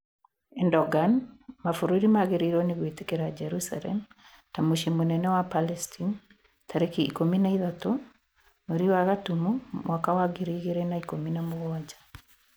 Erdogan: Mabururi magiriirwo ni gwitikira Jerusalem ta mucii munene wa Palestine tariki ikumi na ithatu mweri wa gatumu mwaka wa ngiri igiri na ikumi na mugwanja